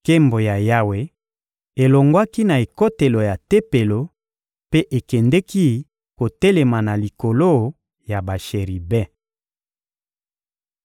Nkembo ya Yawe elongwaki na ekotelo ya Tempelo mpe ekendeki kotelema na likolo ya basheribe.